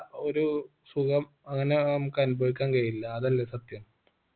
ഒരു സുഖം അങ്ങന നമുക്ക് അനുഭവിക്കാൻ കഴിയില്ല അതല്ലേ സത്യം